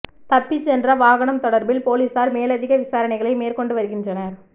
தப்பிச் சென்ற வாகனம் தொடர்பில் பொலிஸார் மேலதிக விசாரணைகளை மேற்கொண்டு வருகின்றனர்